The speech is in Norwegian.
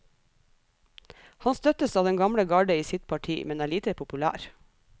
Han støttes av den gamle garde i sitt parti, men er lite populær.